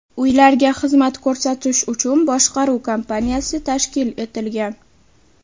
Uylarga xizmat ko‘rsatish uchun boshqaruv kompaniyasi tashkil etilgan.